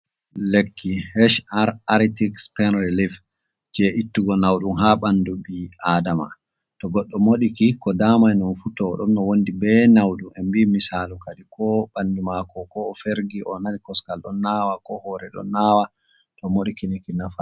Lekki hhr antiks pan relife je ittugo naudum ha bandu bi adama to goddo modiki ko damai nun futo o don no wondi be naudu en bii misalu kadi ko bandu mako ko o fergi o nani koskal don nawa ko hore ɗon nawa to modiki niki nafa.